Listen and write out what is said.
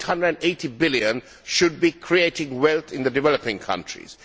Those EUR 880 billion should be creating wealth in the developing countries.